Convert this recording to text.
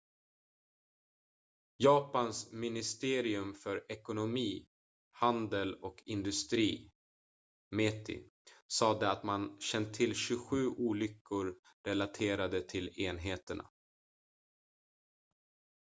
japans ministerium för ekonomi handel och industri meti sade att man känt till 27 olyckor relaterade till enheterna